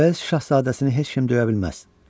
Uels şahzadəsini heç kim döyə bilməz.